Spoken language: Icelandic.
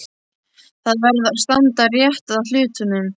Það verður að standa rétt að hlutunum.